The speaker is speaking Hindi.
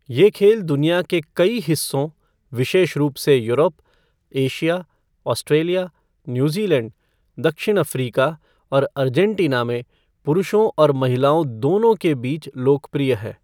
ये खेल दुनिया के कई हिस्सों, विशेष रूप से यूरोप, एशिया, ऑस्ट्रेलिया, न्यूज़ीलैंड, दक्षिण अफ़्रीका और अर्जेंटीना में पुरुषों और महिलाओं दोनों के बीच लोकप्रिय है।